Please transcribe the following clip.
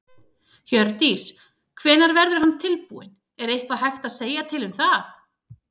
Hjördís: Hvenær verður hann tilbúinn, er eitthvað hægt að segja til um það?